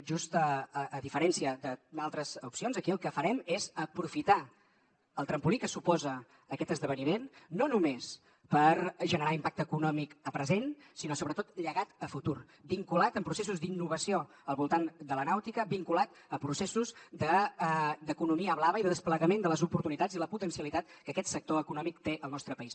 just a diferència d’altres opcions aquí el que farem és aprofitar el trampolí que suposa aquest esdeveniment no només per generar impacte econòmic a present sinó sobretot llegat a futur vinculat amb processos d’innovació al voltant de la nàutica vinculat a processos d’economia blava i de desplegament de les oportunitats i la potencialitat que aquest sector econòmic té al nostre país